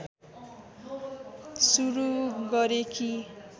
सुरु गरे कि